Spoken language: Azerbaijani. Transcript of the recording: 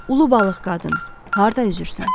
Ulu balıq qadın, harda üzürsən?